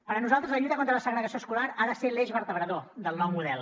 per nosaltres la lluita contra la segregació escolar ha de ser l’eix vertebrador del nou model